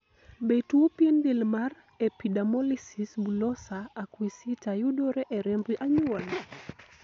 be tuo pien del mar epidermolysis bullosa acquisita yudore e remb anyuola?